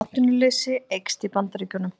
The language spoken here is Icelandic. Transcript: Atvinnuleysi eykst í Bandaríkjunum